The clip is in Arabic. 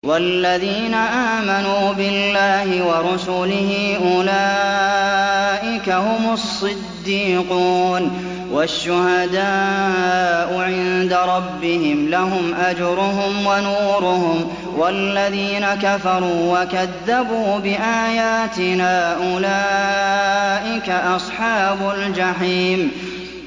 وَالَّذِينَ آمَنُوا بِاللَّهِ وَرُسُلِهِ أُولَٰئِكَ هُمُ الصِّدِّيقُونَ ۖ وَالشُّهَدَاءُ عِندَ رَبِّهِمْ لَهُمْ أَجْرُهُمْ وَنُورُهُمْ ۖ وَالَّذِينَ كَفَرُوا وَكَذَّبُوا بِآيَاتِنَا أُولَٰئِكَ أَصْحَابُ الْجَحِيمِ